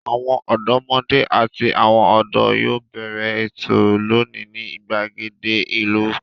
Àwọn ọ̀dọ́mọdé àti àwọn ọ̀dọ́ yóò bẹ̀rẹ̀ ètò lónìí ní ìgbàgede ìlú.